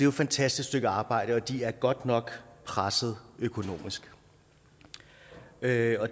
et fantastisk stykke arbejde og de er godt nok presset økonomisk derfor